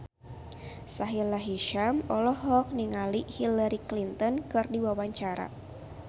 Sahila Hisyam olohok ningali Hillary Clinton keur diwawancara